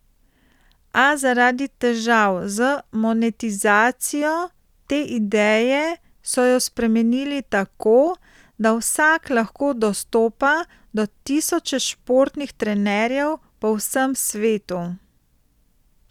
A zaradi težav z monetizacijo te ideje so jo spremenili tako, da vsak lahko dostopa do tisoče športnih trenerjev po vsem svetu.